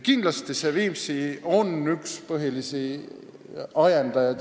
Kindlasti oli Viimsi selle eelnõu tegemise üks põhilisi ajendajaid.